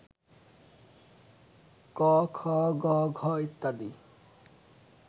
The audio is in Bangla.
ক, খ, গ, ঘ ইত্যাদি